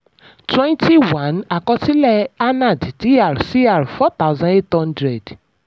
twenty one àkọsílẹ̀ anand dr cr four thousand eight hundred